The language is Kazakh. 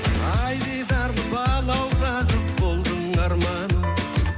ай дидарлы балауса қыз болдың арманым